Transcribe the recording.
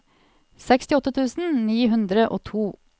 sekstiåtte tusen ni hundre og to